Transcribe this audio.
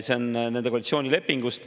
See on nende koalitsioonilepingus.